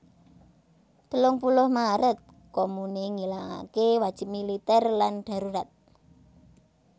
Telung puluh Maret Komune ngilangaké wajib militèr lan darurat